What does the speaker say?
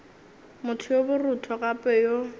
motho yo borutho gape yo